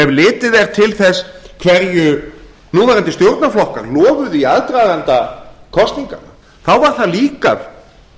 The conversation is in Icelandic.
ef litið er til þess hverju núverandi stjórnarflokkar lofuðu í aðdraganda kosninga þá var það líka